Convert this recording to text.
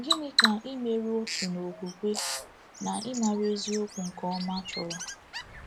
Gịnị ka imerụ “otu n’okwukwe” na “ ịmara eziokwu nke ọma” chọrọ?